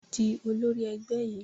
Di olórí ẹgbẹ́ yìí!